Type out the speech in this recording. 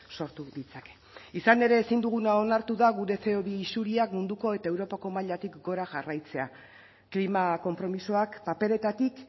sortu ditzake izan ere ezin duguna onartu da gure ce o bi isuriak munduko eta europako mailatik gora jarraitzea klima konpromisoak paperetatik